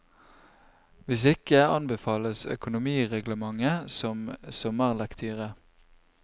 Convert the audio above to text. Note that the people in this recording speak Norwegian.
Hvis ikke, anbefales økonomireglementet som sommerlektyre.